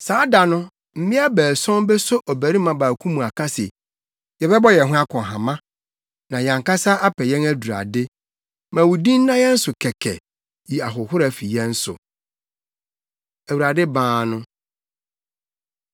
Saa da no, mmea baason beso ɔbarima baako mu aka se, “Yɛbɛbɔ yɛn ho akɔnhama na yɛn ankasa apɛ yɛn adurade; ma wo din nna yɛn so kɛkɛ. Yi ahohora fi yɛn so!” Awurade Baa No